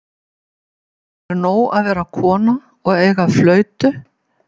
Eða er nóg að vera kona og eiga flautu?